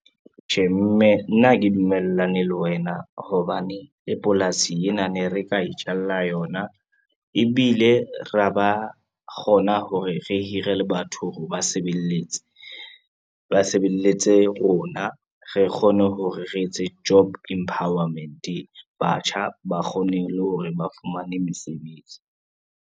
Tjhe mme nna ha ke dumellane le wena hobane le polasi ena ne re ka itjalla yona, ebile ra ba kgona hore re hire le batho hore ba sebeletse. Ba sebeletse rona re kgone hore re etse job empowerment batjha ba kgone le hore ba fumane mesebetsi